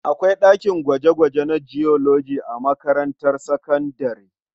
Akwai ɗakin gwaje-gwaje na Biology a makarantar sakabdare.